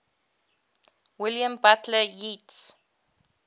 william butler yeats